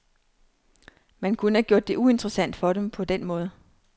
Man kunne have gjort det uinteressant for dem på den måde.